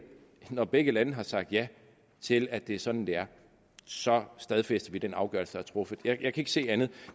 det når begge lande har sagt ja til at det er sådan det er så stadfæster vi den afgørelse der er truffet jeg kan ikke se andet